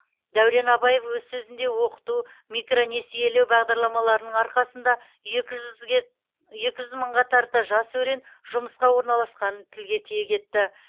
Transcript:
дәурен абаев өз сөзінде оқыту микронесиелеу бағдарламаларының арқасында екі жүз мыңға тарта жас өрен жұмысқа орналасқанын тілге тиек етті